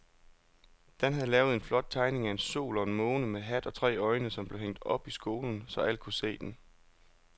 Dan havde lavet en flot tegning af en sol og en måne med hat og tre øjne, som blev hængt op i skolen, så alle kunne se den.